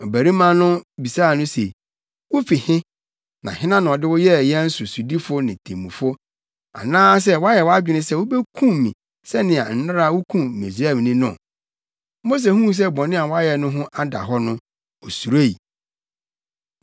Ɔbarima no nso bisaa no se, “Wufi he? Hena na ɔde wo yɛɛ yɛn sodifo ne temmufo? Anaasɛ woayɛ wʼadwene sɛ wobekum me sɛnea nnɛra wukum Misraimni no?” Mose huu sɛ bɔne a wayɛ no ho ada hɔ no, osuroe.